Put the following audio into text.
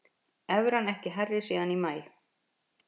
Evran ekki hærri síðan í maí